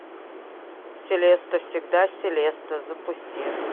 селеста всегда селеста запусти